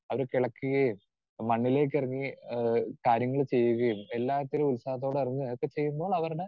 speaker 2 അവര് കിളയ്ക്കുകേം മണ്ണിലേക്കിറങ്ങി ആഹ് കാര്യങ്ങള് ചെയ്യുകേം എല്ലാത്തിനും ഉത്സാഹത്തോടെ ഇറങ്ങി അതൊക്കെ ചെയ്യുമ്പോൾ അവരുടെ